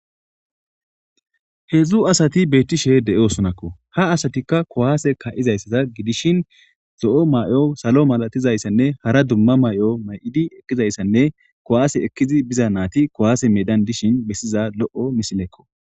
3 asat betishe de'osonako, ha asatika kuwase ka'zayasata gidishn zo'o mayo, salo malatizayanne hara duma mayo gizaysanne kuwase ekid biza nayt kuwase medan dishn besiza lo'o misileko